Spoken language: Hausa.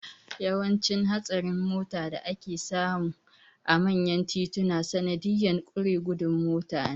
Yawancin hatsarin mota da ake samu a manyan tituna sanadiyan ƙure gudun mota ne